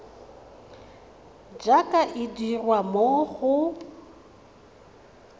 jaaka e dirwa mo go